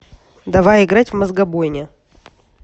давай играть в мозгобойня